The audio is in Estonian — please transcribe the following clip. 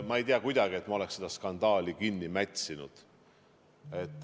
Ma ei tea, et ma oleks seda skandaali kuidagi kinni mätsinud.